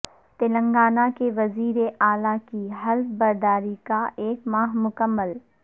تلنگانہ کے وزیراعلی کی حلف برداری کا ایک ماہ مکمل